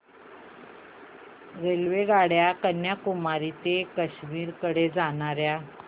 रेल्वेगाड्या कन्याकुमारी ते काश्मीर कडे जाणाऱ्या